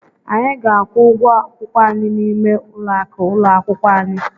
Anyị ga-akwụ ụgwọ akwụkwọ anyị n'ime ụlọakụ ụlọ akwụkwọ anyị.